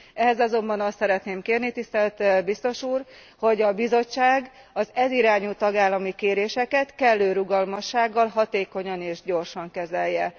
Ehhez azonban azt szeretném kérni tisztelt Biztos úr, hogy a Bizottság az ez irányú tagállami kéréseket kellő rugalmassággal, hatékonyan és gyorsan kezelje.